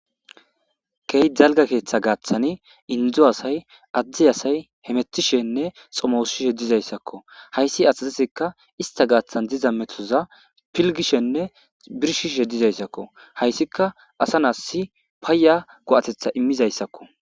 key jalga keeththa gaaththani indzo asay addi asay hemettishenne xomowusshishe dizayssakko hayssi asazesekka ista gaaththan diza metoza pilgishenne birshishe dizayssakko hayssika asa naassi paaya go7atetha immizayssakko